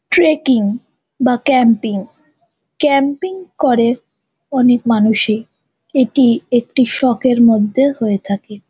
Trekking বা camping camping করে অনেক মানুষই। এটি একটি শখের মধ্যে হয়ে থাকে ।